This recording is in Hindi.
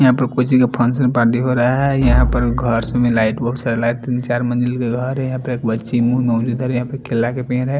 यहाँ पर कोई चीज़ का फंक्शन पार्टी हो रहा है यहाँ पर घर में लाईट बहुत सारा लगा है तीन चार मंजिल का घर है यहाँ पे एक बच्ची यहाँ पे केला का पेड़ है।